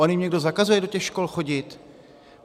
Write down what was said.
On jim někdo zakazuje do těch škol chodit?